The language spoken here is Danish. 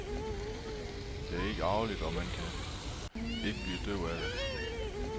Det er ikke arveligt, og man kan ikke blive døv af det.